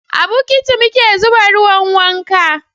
a bukiti muke zuba ruwan wanka.